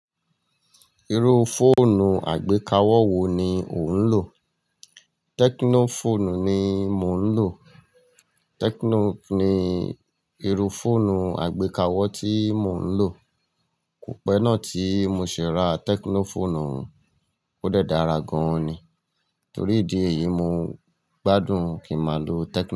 Iru foonu agbekawọ wo ni o n lo? Tekno foonu ni mo n lo. Tekno ni iru foonu agbekawọ ti mo n lo. Ko pẹ naa ti mo ṣe ra tekno foonu, o dẹ dára gan ni. Tori idi eyi mo gbadun ki ma lo tekno.